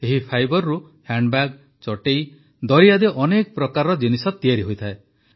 ଏହି ଫାଇବରରୁ ହ୍ୟାଣ୍ଡବ୍ୟାଗ୍ ଚଟେଇ ଦରି ଆଦି ଅନେକ ପ୍ରକାରର ଜିନିଷ ତିଆରି ହୋଇଥାଏ